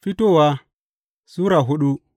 Fitowa Sura hudu